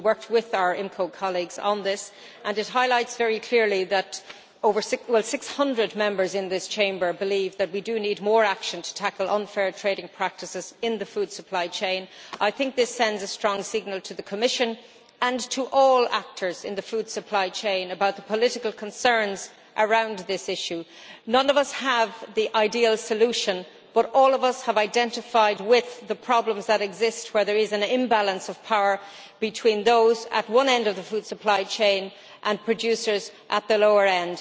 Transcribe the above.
We worked with our colleagues in the Committee on the Internal Market and Consumer Protection on this and it highlights very clearly that 600 Members in this Chamber believe that we do need more action to tackle unfair trading practices in the food supply chain. I think this sends a strong signal to the Commission and to all actors in the food supply chain about the political concerns around this issue. None of us has the ideal solution, but all of us have identified with the problems that exist, where there is an imbalance of power between those at one end of the food supply chain, and producers at the lower end.